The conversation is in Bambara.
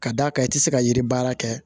Ka d'a kan i ti se ka yiri baara kɛ